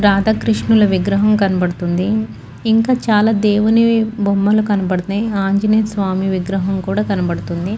రాధాకృష్ణుల విగ్రహం కనపడుతుంది ఇంకా చాల దేవుని బొమ్మలు కనపడుతున్నాయ్ ఆంజనేయ స్వామి విగ్రహం కూడా కనపడుతుంది.